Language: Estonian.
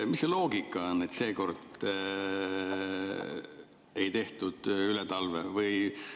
Mis see loogika on, et seekord ei tehtud üle talve?